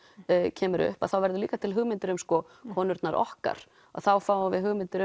kemur upp þá verður líka til hugmyndin um konurnar okkar þá fáum við hugmyndir